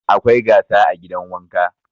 Akwai gasa a gidan wanka.